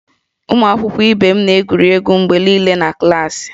Ụmụ akwụkwọ ibe m na-egwuri egwu mgbe niile na klaasị